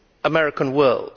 American world.